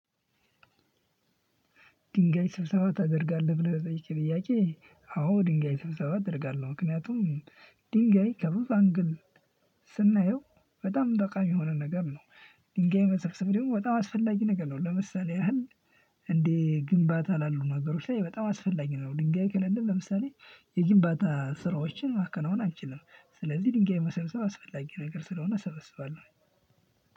ድንጋይ ስብሰባ ታደርጋለህ ብለህ ለጠየከኝ ጥያቄ አዎ ድንጋይ ስብሰባ እደርጋለሁ ምክንያቱም ድንጋይ ከብዙ አንግል ስናየው በጣም ጠቃሚ የሆነ ነገር ነው። ድንጋይ መሰብሰብ ደሞ በጣም አስፈላጊ ነገር ነው ለምሳሌ ያህል? እንዴ ግንባታ ላሉ ነገሮች ላይ በጣም አስፈላጊ ነው። ድንጋይ ከሌለ ለምሳሌ የግንባታ ስራዎችን ማከናወን አንችልም። ስለዚህ ድንጋይ መሰብሰብ አስፈላጊ ነገር ስለሆነ እሰበስባለሁኝ።